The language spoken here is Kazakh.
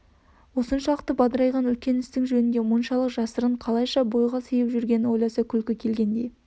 осыншалық бадырайған үлкен істің жөнінде мұншалық жасырын қалайша бойға сыйып жүргенін ойласа күлкі келгендей